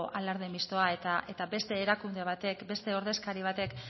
alarde mistoa eta beste erakunde batek beste ordezkari batek